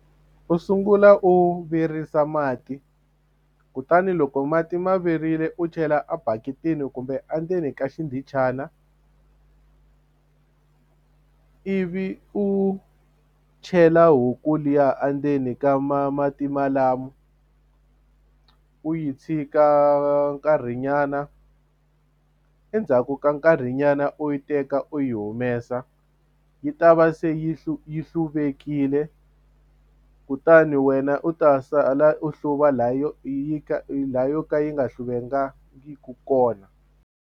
U sungula u virisa mati kutani loko mati ma virile u chela a bakitini kumbe endzeni ka xindhichana ivi u chela huku liya endzeni ka mati malamo u yi tshika nkarhinyana endzhaku ka nkarhi nyana u yi teka u yi humesa yi ta va se yi yi hluvekile kutani wena u ta sala u hluva la yo yo ka yi nga hluvengakiku kona.